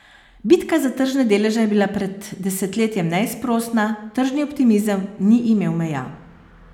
Bitka za tržne deleže je bila pred desetletjem neizprosna, tržni optimizem ni imel meja.